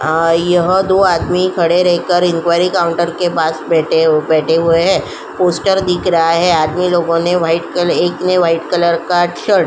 आय यह दो आदमी खड़े रहकर इन्क्वारी काउंटर के पास बैठे हुए हैं। पोस्टर दिख रहा है आदमी लोगों ने एक ने व्हाइट एक ने व्हाइट कलर का शर्ट --